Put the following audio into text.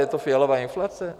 Je to Fialova inflace?